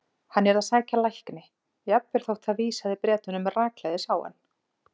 Hann yrði að sækja lækni, jafnvel þótt það vísaði Bretunum rakleiðis á hann.